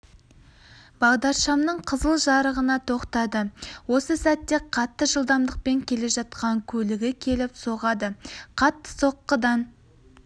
бағдаршамның қызыл жарығына тоқтады осы сәтте қатты жылдамдықпен келе жатқан көлігі келіп соғады қатты соққыдан